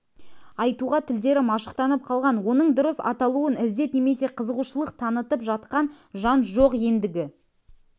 айтуға тілдері машықтанып қалған оның дұрыс аталауын іздеп немесе қызығушылық танытып жатқан жан жоқ ендігі